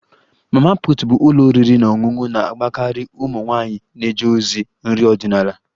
Mama put bụ ụlọ oriri na ọṅụṅụ na-agbakarị ụmụ nwanyị na-eje ozi nri ọdịnala